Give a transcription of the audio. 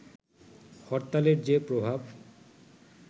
হরতালের যে প্রভাব